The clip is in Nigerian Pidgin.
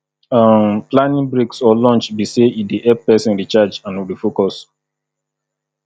um planning breaks or lunch be say e dey help pesin recharge and refocus